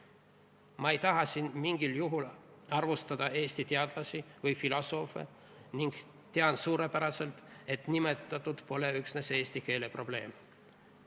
" Ma ei taha siin mingil juhul arvustada Eesti teadlasi või filosoofe ning tean suurepäraselt, et tegu pole üksnes eesti keele probleemiga.